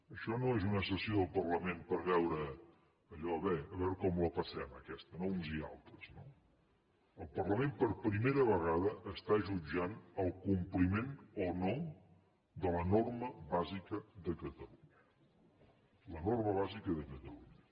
això no és una sessió del parlament per veure allò bé a veure com la passem aquesta no uns i altres el parlament per primera vegada està jutjant el compliment o no de la norma bàsica de catalunya la norma bàsica de catalunya